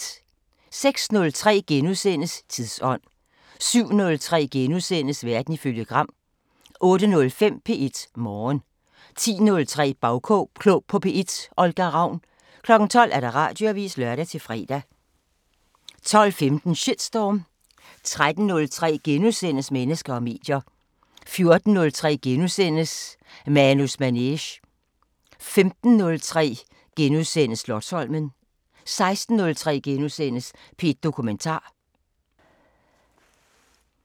06:03: Tidsånd * 07:03: Verden ifølge Gram * 08:05: P1 Morgen 10:03: Bagklog på P1: Olga Ravn 12:00: Radioavisen (lør-fre) 12:15: Shitstorm 13:03: Mennesker og medier * 14:03: Manus Manege * 15:03: Slotsholmen * 16:03: P1 Dokumentar *